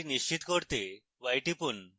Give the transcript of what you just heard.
এটি নিশ্চিত করতে y টিপুন